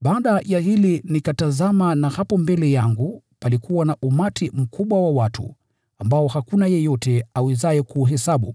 Baada ya hili nikatazama na hapo mbele yangu palikuwa na umati mkubwa wa watu ambao hakuna yeyote awezaye kuuhesabu,